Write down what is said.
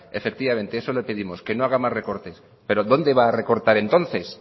efectivamente eso le pedimos que no haga más recortes pero dónde va a recortar entonces